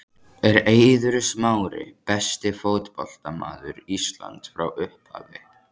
Er Eiður Smári besti fótboltamaður Íslands frá upphafi?